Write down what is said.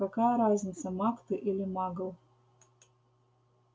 какая разница маг ты или магл